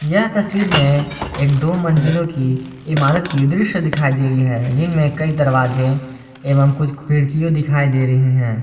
यह तस्वीर में एक दो मंजिलों की इमारत की दृश्य दिखाई दे रही है जिनमें कई दरवाजे एवं कुछ खिड़कियों दिखाई दे रही है।